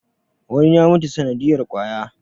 wani ya mutu sanadiyar kwaya